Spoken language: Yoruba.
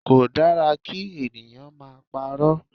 Kò dára kí ènìyàn máa parọ́.